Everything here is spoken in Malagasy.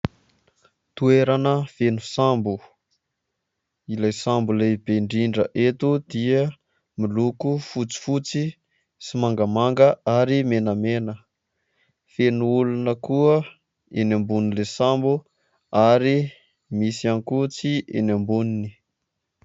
Toerana feno sambo. Ilay sambo lehibe indrindra eto dia miloko fotsifotsy, sy mangamanga ary menamena. Feno olona koa eo ambonin'ilay sambo ary misy ankotsy eny amboniny.